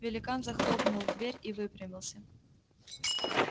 великан захлопнул дверь и выпрямился